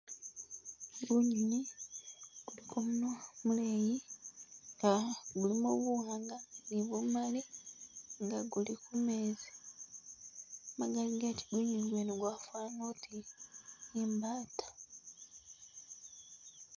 Gunyonyi guliko munwa muleyi nga gulimo buwanga ni bumali nga guli kumezi magali gati, gunyonyi gwene gwafana oti i mbata